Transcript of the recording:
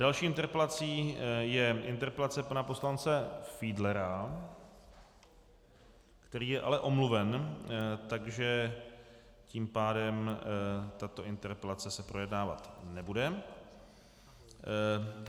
Další interpelací je interpelace pana poslance Fiedlera, který je ale omluven, takže tím pádem tato interpelace se projednávat nebude.